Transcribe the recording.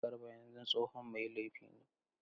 Garba yanzu tsohon mai laifi ne.